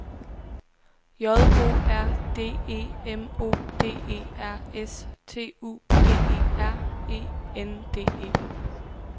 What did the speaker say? J O R D E M O D E R S T U D E R E N D E